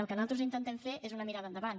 el que nosaltres intentem fer és una mirada endavant